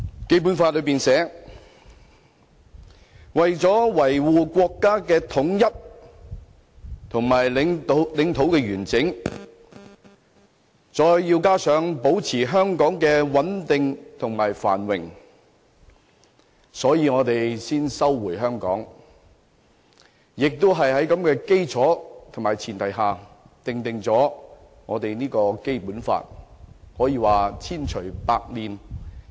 《基本法》序言寫道，"為了維護國家的統一和領土完整"，加上"保持香港的繁榮和穩定"，故此，中國才收回香港，更是在這種基礎和前提下才訂定了《基本法》，可說是千錘百煉。